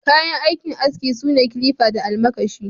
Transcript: Kayan aikin aski sune kilifa da almakashi.